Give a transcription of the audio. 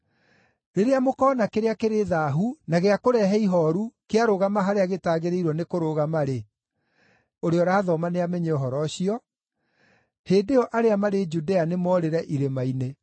“Rĩrĩa mũkoona kĩrĩa kĩrĩ thaahu na gĩa kũrehe ihooru kĩarũgama harĩa gĩtagĩrĩirwo nĩ kũrũgama-rĩ, (ũrĩa ũrathoma nĩamenye ũhoro ũcio), hĩndĩ ĩyo arĩa marĩ Judea nĩmoorĩre irĩma-inĩ.